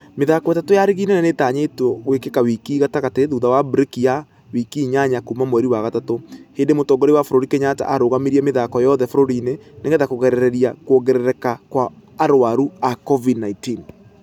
Mĩthako ĩtatũ ya rigi nene nĩitanyĩtwo gũĩkĩka wiki gatagatĩ thutha wa breki ya wiki inyanya kuuma mweri wa gatatu. Hĩndĩ mũtongoria wa bũrũri kenyatta ararũgamirie mĩthako yothe bũrũri-inĩ nĩgetha kũgirereria kũongererekakwaarwaru a covid-19.